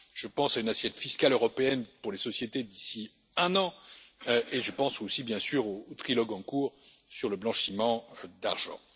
Je pense à une assiette fiscale européenne pour les sociétés d'ici un an et je pense aussi, bien sûr, au trilogue en cours sur le blanchiment d'argent.